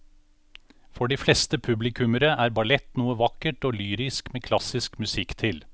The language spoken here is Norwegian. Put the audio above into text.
For de fleste publikummere er ballett noe vakkert og lyrisk med klassisk musikk til.